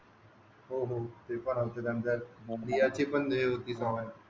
हो हो ते पण